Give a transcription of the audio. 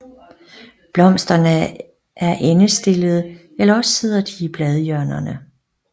Blomsterne er endestillede eller også sidder de i bladhjørnerne